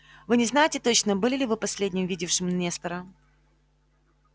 вы не знаете точно были ли вы последним видевшим нестора